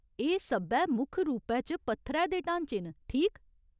एह् सब्भै मुक्ख रूपै च पत्थरै दे ढांचे न, ठीक?